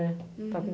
É, está com